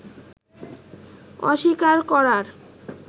অস্বীকার করার